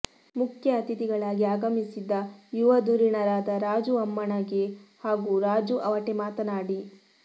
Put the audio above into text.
ಮುಖ್ಯ ಅತಿಥಿಗಳಾಗಿ ಆಗಮಿಸಿದ್ದ ಯುವ ಧುರಿಣರಾದ ರಾಜು ಅಮ್ಮಣಗಿ ಹಾಗೂ ರಾಜು ಅವಟೆ ಮಾತನಾಡಿ